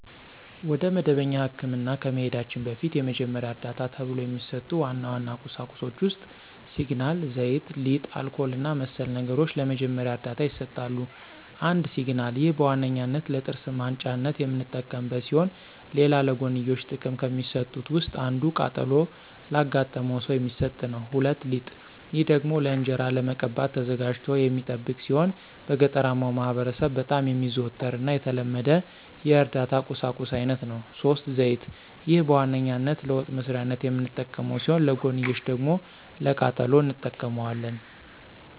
ወደ መደበኛ ህክምና ከመሂዳችን በፊት የመጀመሪያ ዕርዳታ ተብሎው ከሚሰጡ ዋና ዋና ቁሳቁሶች ውስጥ ሲግናል፣ ዘይት፣ ሊጥ፣ አልኮል እና መሰል ነገሮች ለመጀመሪያ ዕርዳታ ይሰጣሉ። ፩) ሲግናል፦ ይህ በዋነኛነት ለጥርስ ማንጫነት የምንጠቀምበት ሲሆን ሌላ ለጎንዮሽ ጥቅም ከሚሰጡት ውስጥ አንዱ ቃጠሎ ላጋጠመው ሰው የሚሰጥ ነው። ፪) ሊጥ፦ ይህ ደግሞ ለእንጅራ ለመቀባት ተዘጋጅቶ የሚጠብቅ ሲሆን በገጠራማው ማህበረሰብ በጣም የሚዘወተር እና የተለመደ የእርዳታ ቁሳቁስ አይነት ነው። ፫) ዘይት፦ ይህ በዋነኛነት ለወጥ መስሪያነት የምንጠቀመው ሲሆን ለጎንዮሽ ደግሞ ለቃጠሎም እንጠቀመዋለን።